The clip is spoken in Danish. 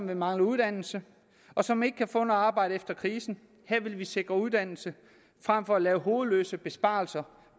der mangler uddannelse og som ikke kan få noget arbejde efter krisen her vil vi sikre uddannelse frem for at lave hovedløse besparelser